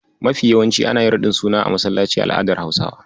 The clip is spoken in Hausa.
Mafi yawanci ana yin raɗin suna a masallaci a al'adar Hausawa.